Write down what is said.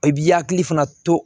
I b'i hakili fana to